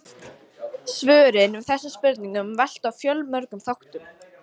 Svörin við þessum spurningum velta á fjölmörgum þáttum.